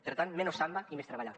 per tant menos samba i més treballar